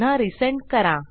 पुन्हा रिसेंड करा